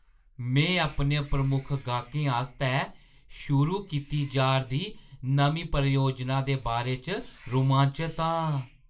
में अपने प्रमुख गाह्‌कै आस्तै शुरू कीती जा 'रदी नमीं परियोजना दे बारे च रोमांचत आं।